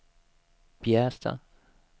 Bjästa